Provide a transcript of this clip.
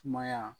Sumaya